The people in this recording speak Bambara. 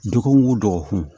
Dɔgɔkun o dɔgɔkun